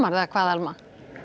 eða hvað Alma